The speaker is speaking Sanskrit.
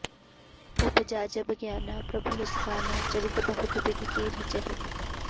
उपजा जब ग्याना प्रभु मुसकाना चरित बहुत बिधि कीन्ह चहै